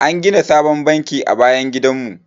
An gina sabon banki a bayan gidan mu.